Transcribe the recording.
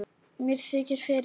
Mér þykir fyrir því.